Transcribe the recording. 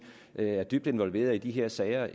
er dybt involveret i de her sager